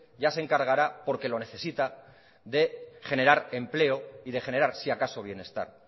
ya se encargará porque lo necesita de generar empleo y de generar si acaso bienestar